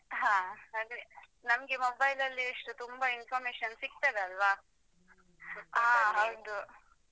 ಹಾ ನಮ್ಗೆ mobile ಅಲ್ಲಿ ಎಷ್ಟು ತುಂಬಾ information ಸಿಗ್ತದಲ್ಲಾ ಹಾ ಹೌದು.